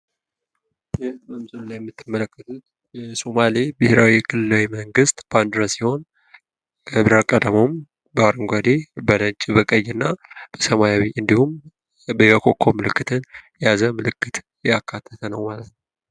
ይህ በምስሉ የምትመለከቱት የሶማሌ ብሔራዊ ክልላዊ መንግስት ባንድራ ሲሆን ቀለም አቀባቡም በአረንጓዴ በነጭ በቀይና በሰማያዊ እንድሁም የኮከብ ምልክት ያካተተ ነው ማለት ነው።